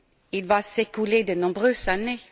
il va s'écouler de nombreuses années.